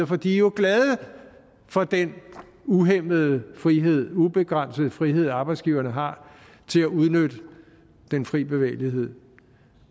for de er jo glade for den uhæmmede frihed ubegrænsede frihed arbejdsgiverne har til at udnytte den frie bevægelighed